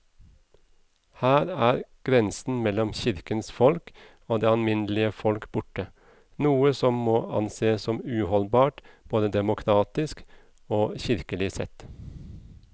Her er grensen mellom kirkens folk og det alminnelige folk borte, noe som må ansees som uholdbart både demokratisk og kirkelig sett.